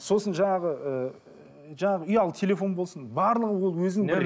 сосын жаңағы ыыы жаңағы ұялы телефон болсын барлығы ол өзінің бір